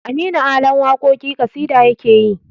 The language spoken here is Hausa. Aminu ala waƙoƙin ƙasida yakeyi